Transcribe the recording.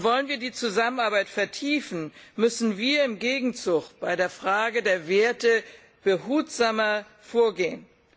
Wollen wir die Zusammenarbeit vertiefen, müssen wir im Gegenzug bei der Frage der Werte behutsamer vorgehen.